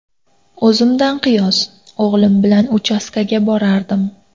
O‘zimdan qiyos: o‘g‘lim bilan uchastkaga borardim.